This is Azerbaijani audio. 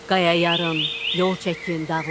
Qaya yarın, yol çəkin dağlara.